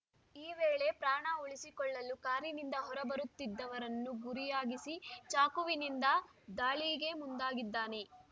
ಈ ವೇಳೆ ಪ್ರಾಣ ಉಳಿಸಿಕೊಳ್ಳಲು ಕಾರಿನಿಂದ ಹೊರಬರುತ್ತಿದ್ದವರನ್ನು ಗುರಿಯಾಗಿಸಿ ಚಾಕುವಿನಿಂದ ದಾಳಿಗೆ ಮುಂದಾಗಿದ್ದಾನೆ